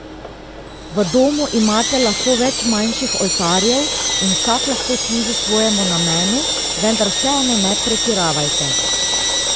V domu imate lahko več manjših oltarjev in vsak lahko služi svojemu namenu, vendar vseeno ne pretiravajte.